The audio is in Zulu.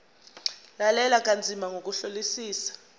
lalela kanzima ngokuhlolisisa